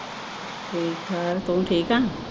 ਠੀਕ ਠਾਕ ਤੂੰ ਠੀਕ ਆ?